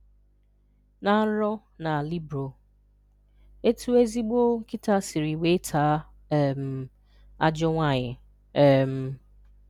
Ná nrọ na libro: Etú ezigbo nkịta sịrị weé taa um ajọọ nwaanyị. um